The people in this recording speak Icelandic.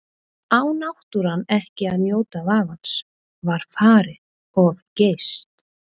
Á náttúran ekki að njóta vafans, var farið of geyst?